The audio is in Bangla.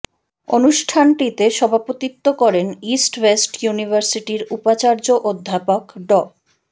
অনুষ্ঠানটিতে সভাপতিত্ব করেন ইস্ট ওয়েস্ট ইউনিভার্সিটির উপাচার্য অধ্যাপক ড